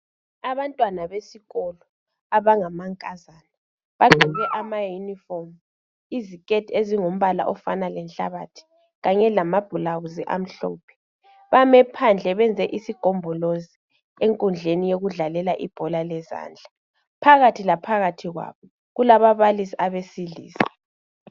Abantwana besikolo abangamankazana bagqoke amauniform , iziketi ezingumbala ofana lenhlabathi kanye lama bhulawuzi amhlophe , bame phandle bayenze isigombolozi enkundleni yokudlalela ibhola lezandla , phakathi laphakathi kwabo kulababalisi abesilisa